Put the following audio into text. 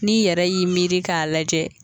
N'i yɛrɛ y'i miiri k'a lajɛ.